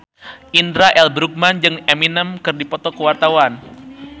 Indra L. Bruggman jeung Eminem keur dipoto ku wartawan